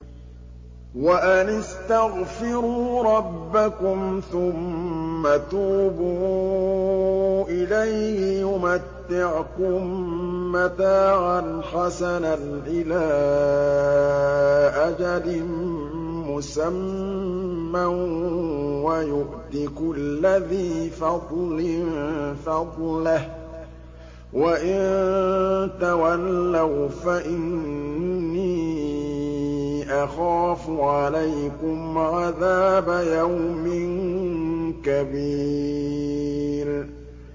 وَأَنِ اسْتَغْفِرُوا رَبَّكُمْ ثُمَّ تُوبُوا إِلَيْهِ يُمَتِّعْكُم مَّتَاعًا حَسَنًا إِلَىٰ أَجَلٍ مُّسَمًّى وَيُؤْتِ كُلَّ ذِي فَضْلٍ فَضْلَهُ ۖ وَإِن تَوَلَّوْا فَإِنِّي أَخَافُ عَلَيْكُمْ عَذَابَ يَوْمٍ كَبِيرٍ